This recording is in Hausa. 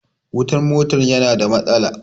Wutan mota ya na da matsala